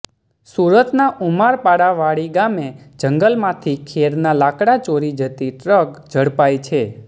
સુરતના ઉમરપાડા વાડી ગામે જંગલમાંથી ખેરના લાકડા ચોરી જતી ટ્રક ઝડપાઈ છે